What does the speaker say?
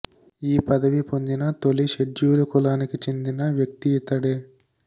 ఈ పదవి పొందిన తొలి షెడ్యూలు కులానికి చెందిన వ్యక్తి ఇతడే